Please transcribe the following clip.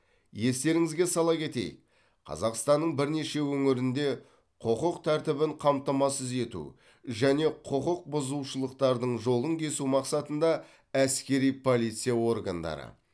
естеріңізге сала кетейік қазақстанның бірнеше өңірінде құқық тәртібін қамтамасыз ету және құқық бұзушылықтардың жолын кесу мақсатында әскери полиция органдары